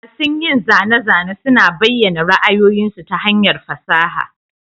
Masun yin zane-zane suna bayyana ra'ayoyinsu ta hanyar fasaha.